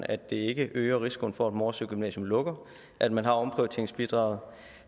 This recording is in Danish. at det ikke øger risikoen for at morsø gymnasium lukker at man har omprioriteringsbidraget